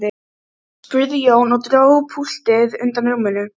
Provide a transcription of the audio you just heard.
Hemmi situr sem lamaður í stólnum undir reiðilestri hennar.